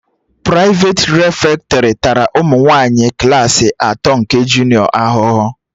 Prịfeti refektọrị tara ụmụ nwaanyị klaasị atọ nke junịọ ahụhụ